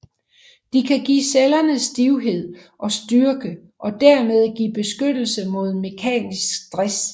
De kan give cellerne stivhed og styrke og dermed give beskyttelse mod mekanisk stres